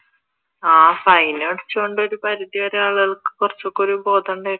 ആഹ് fine അടച്ചത് കൊണ്ട് ഒരു പരിധി വരെ ആളുകൾക്ക് കുറച്ചൊക്കെ ഒരു ബോധം ഉണ്ടായിരുന്നു